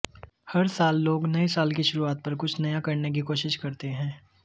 हर साल लोग नए साल की शुरुआत पर कुछ नया करने की कोशिश करते हैं